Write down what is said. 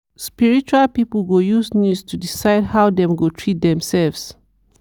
spiritual people go use news to decide how dem go treat themselves.